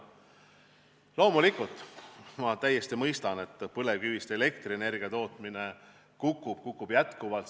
Loomulikult, ma täiesti mõistan, et põlevkivist elektrienergia tootmine kukub, kukub jätkuvalt.